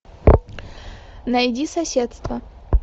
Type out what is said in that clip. найди соседство